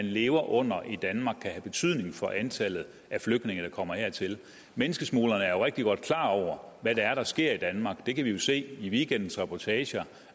lever under i danmark kan have betydning for antallet af flygtninge der kommer hertil menneskesmuglerne er jo rigtig godt klar over hvad det er der sker i danmark det kan vi jo se i weekendens reportager